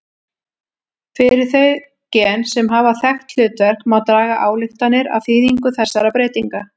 Fyrir þau gen sem hafa þekkt hlutverk má draga ályktanir af þýðingu þessara breytinga.